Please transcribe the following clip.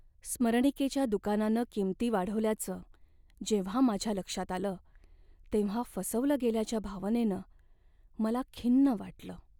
स्मरणिकेच्या दुकानानं किंमती वाढवल्याचं जेव्हा माझ्या लक्षात आलं तेव्हा फसवलं गेल्याच्या भावनेनं मला खिन्न वाटलं.